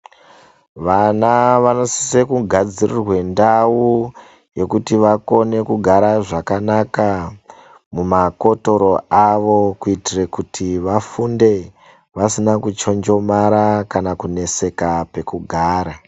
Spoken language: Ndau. Vana vanosise kugadzirirwe ndau yekuti vakone kugara zvakanaka mumakotoro avo ,kuitire kuti vafunde vasina kuchonjomara kana kuneseka pekugara.